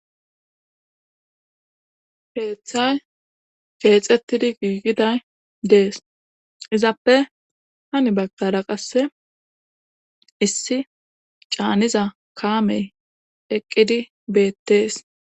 Heeththay geexettidi giigiday dees izappe hani bakara qasse issi caaniza kaamey eqqidi beettees.